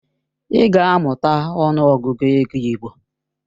Ị ga-amụta ọnụ Ọgụgụ ego igbo!